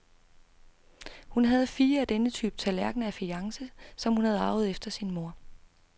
Hun havde fire af denne type tallerkner af fajance, som hun havde arvet efter sin mor.